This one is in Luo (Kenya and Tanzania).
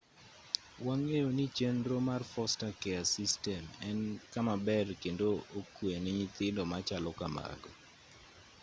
wang'eyo ni chenro mar foster care system en kama ber kendo okwe ne nyithindo machalo kamago